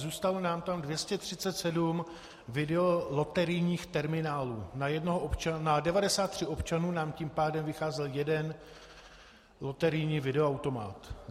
Zůstalo nám tam 237 videoloterijních terminálů, na 93 občanů nám tím pádem vycházel jeden loterijní videoautomat.